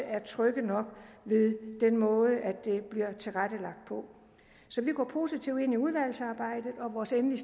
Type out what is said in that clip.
er trygge nok ved den måde det bliver tilrettelagt på så vi går positivt ind i udvalgsarbejdet og vores endelige